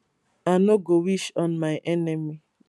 i no go wish on my enemy